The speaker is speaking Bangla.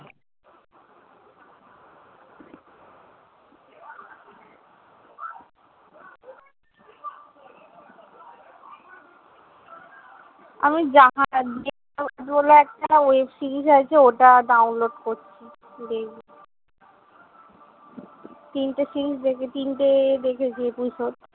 আমি বলে একটা web-series আছে, ওটা download করছি, তিনটে series দেখে~ তিনটে দেখেছি episode